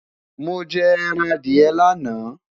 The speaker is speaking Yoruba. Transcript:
mọ jẹ ẹran Adiye laana